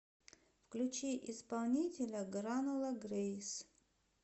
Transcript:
включи исполнителя гранула грэйс